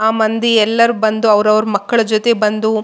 ಆ ಮಂದಿ ಎಲ್ಲರು ಬಂದು ಅವ್ರವ್ರ ಮಕ್ಕಳ ಜೊತೆ ಬಂದು--